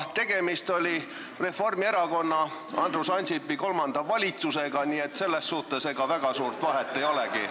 Tegemist oli Reformierakonna, Andrus Ansipi kolmanda valitsusega, nii et selles suhtes väga suurt vahet ei olegi.